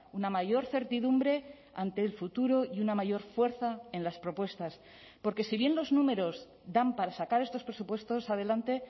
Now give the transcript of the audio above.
una mayor certidumbre ante el futuro y una mayor fuerza en las propuestas porque si bien los números dan para sacar estos presupuestos adelante